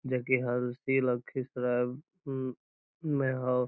जे की हम उसी लखीसराय में हूं ह।